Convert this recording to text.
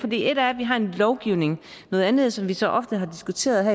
et er at vi har en lovgivning noget andet som vi så ofte har diskuteret